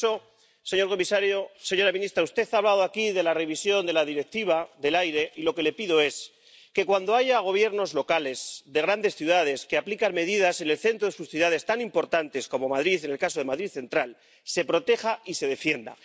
Por eso, señor comisario, señora ministra, ya que usted ha hablado aquí de la revisión de la Directiva del aire, lo que le pido es que, cuando haya Gobiernos locales, de grandes ciudades, que aplican medidas en el centro de sus ciudades, tan importantes como Madrid Central en el caso de Madrid, se proteja y se defienda.